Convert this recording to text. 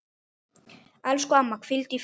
Elsku amma, hvíldu í friði.